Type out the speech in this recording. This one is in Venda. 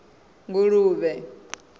nguluvhe